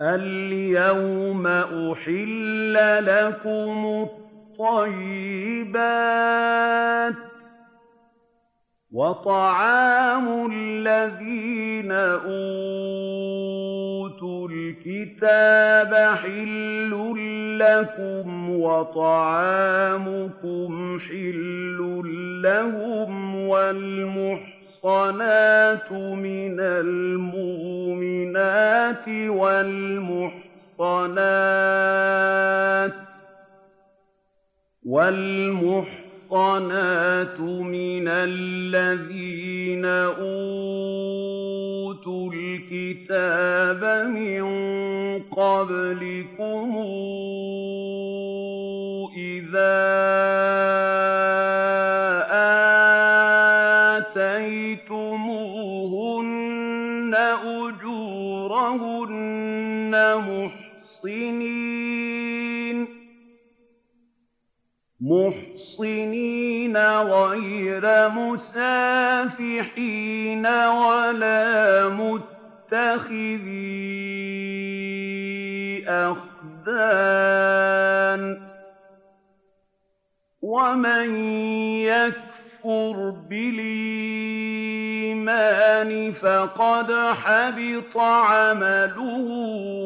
الْيَوْمَ أُحِلَّ لَكُمُ الطَّيِّبَاتُ ۖ وَطَعَامُ الَّذِينَ أُوتُوا الْكِتَابَ حِلٌّ لَّكُمْ وَطَعَامُكُمْ حِلٌّ لَّهُمْ ۖ وَالْمُحْصَنَاتُ مِنَ الْمُؤْمِنَاتِ وَالْمُحْصَنَاتُ مِنَ الَّذِينَ أُوتُوا الْكِتَابَ مِن قَبْلِكُمْ إِذَا آتَيْتُمُوهُنَّ أُجُورَهُنَّ مُحْصِنِينَ غَيْرَ مُسَافِحِينَ وَلَا مُتَّخِذِي أَخْدَانٍ ۗ وَمَن يَكْفُرْ بِالْإِيمَانِ فَقَدْ حَبِطَ عَمَلُهُ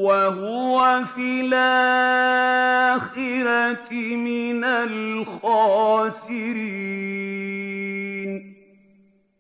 وَهُوَ فِي الْآخِرَةِ مِنَ الْخَاسِرِينَ